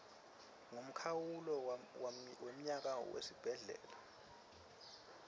ngemkhawulo wemnyaka wesibhedlela